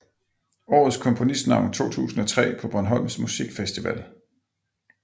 Årets komponistnavn 2003 på Bornholms Musikfestival